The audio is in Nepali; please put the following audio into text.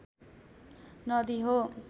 नदी हो